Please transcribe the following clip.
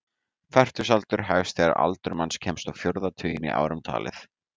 Fertugsaldur hefst þegar aldur manns kemst á fjórða tuginn í árum talið.